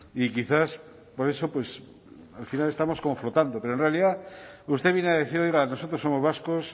y quizás por eso al final estamos confrontando pero en realidad usted viene a decir oiga nosotros somos vascos